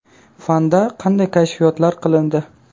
Fanda qanday kashfiyotlar qilindi?